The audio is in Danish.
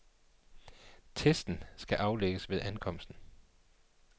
Testen skal aflægges ved ankomsten.